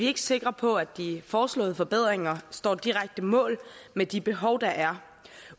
ikke sikre på at de foreslåede forbedringer står direkte mål med de behov der er